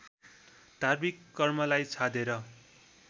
धार्मिक कर्मलाई छाडेर